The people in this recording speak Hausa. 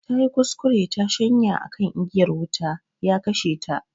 Tayi kuskure tayi shanya akan igiyar wuta, ya kashe ta